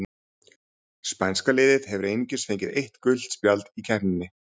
Spænska liðið hefur einungis fengið eitt gult spjald í keppninni.